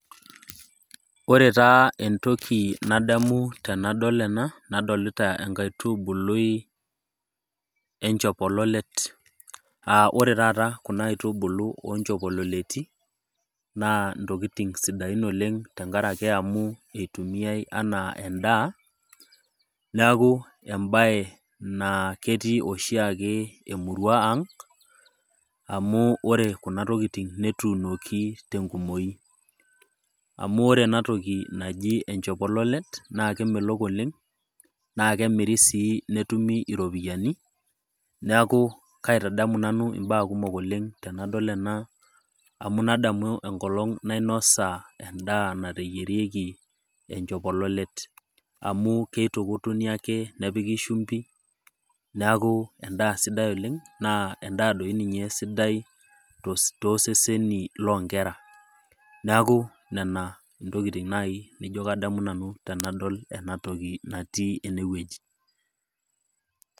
Ore taa entoki nadamu tenadol ena naa adamu enkaitubului enchopololet, aa ore taata kuna aitubulu oo inchopololeti naa intokitin sidain oleng' amu eitumiyai anaa endaa, neaku embaye naa ketii oshiake emurua aang', amu ore kuna tokitin netuunoki te enkumoi. Amu ore ena toki naji enchopololet, naake emelok oleng', naake emiri sii netumi iropiani, neaku kaitadamu nanu imbaa kumok oleng' tenadol ena, amu nadamu enkolong' nainosa endaa nateyierieki enchopololrt, amu keitukutuni ake nepiki shumpi, neaku endaa sidai oleng' naa endaa doi ninye sidai tooseseni loo inkera neaku nena nai intokitin nadumu nai tenadol ena toki natii ene wueji.